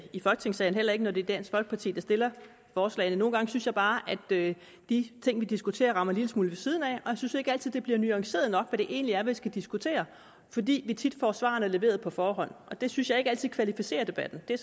i folketingssalen heller ikke når det er dansk folkeparti der stiller forslagene nogle gange synes jeg bare at de ting vi diskuterer rammer en lille smule ved siden af og jeg synes ikke altid at det bliver nuanceret nok hvad det egentlig er man skal diskutere fordi vi tit får svarene leveret på forhånd og det synes jeg ikke altid kvalificerer debatten det er